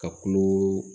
Ka kulo